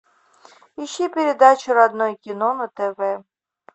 ищи передачу родное кино на тв